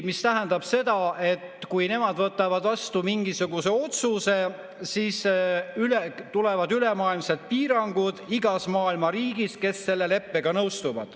See tähendab seda, et kui nemad võtavad vastu mingisuguse otsuse, siis tulevad ülemaailmsed piirangud – igas maailma riigis, kes selle leppega nõustub.